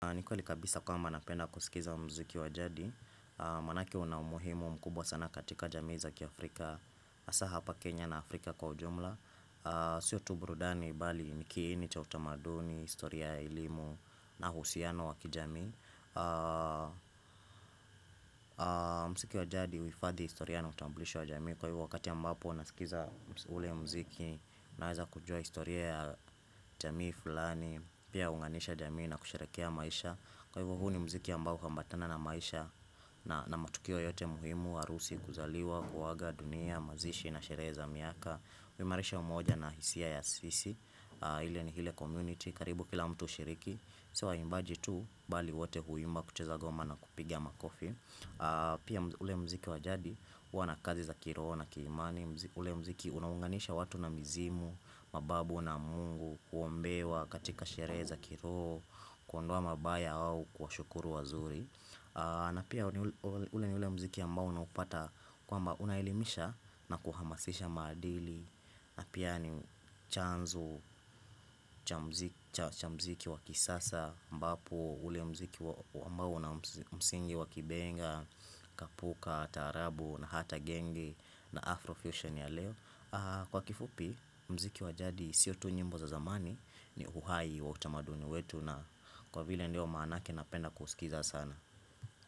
Ni kweli kabisa kwamba napenda kusikiza mziki wa jadi Maanake una umuhimu mkubwa sana katika jamii za kiafrika, hasaa hapa Kenya na Afrika kwa ujumla Sio tu burudani, bali ni kiini cha utamaduni, historia ya elimu na uhusiano wa kijamii mziki wa jadi uhifadhi historia na utamblisho wa jamii. Kwa hivyo wakati ambapo unasikiza ule mziki, unaweza kujuwa historia ya jamii fulani. Pia uunganisha jamii na kusherehekea maisha, kwa hivyo huu ni mziki ambao huambatana na maisha, na na matukio yote muhimu, harusi, kuzaliwa, kuaga dunia, mazishi na sherehe za miaka huimarisha umoja na hisia ya sisi, ile community, karibu kila mtu hushiriki, sio waimbaji tu, bali wote huimba kucheza ngoma na kupigia makofi Pia ule mziki waj adi, huwa na kazi za kiroho na kiimani. Ule mziki unaunganisha watu na mizimu, mababu na mungu, kuombewa katika sherehe za kiroho Kuondowa mabaya au kuwashukuru wazuri. Na pia ule ni ule mziki ambao unapata kwamba, unaelimisha na kuhamasisha maadili, na pia ni chanzo cha cha mziki wa kisasa ambapo ule mziki ambao una msingi wakibenga, kapuka, taarabu na hata genge na Afro fusion ya leo Kwa kifupi mziki wa jadi sio tu nyimbo za zamani, ni uhai wa utamaduni wetu na kwa vile ndio maanake napenda kusikiza sana.